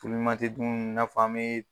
tɛ dun i nafɔ an a Bɛ.